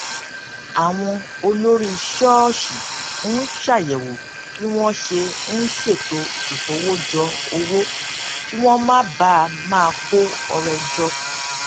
àwọn olórí ṣóòṣì ń ṣàyèwò bí wón ṣe ń ṣètò ìkówójọ owó kí wón má bàa máa kó ọrẹ jọ